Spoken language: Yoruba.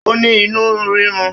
Ó ní inú rírun.